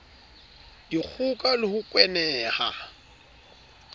dikgoka le ho kwena ha